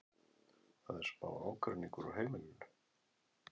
Það er smá ágreiningur á heimilinu.